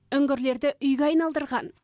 үңгірлерді үйге айналдырған